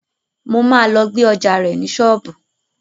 Mo máa lọ gbé ọjá rẹ̀ ní ṣọ́ọ̀bù.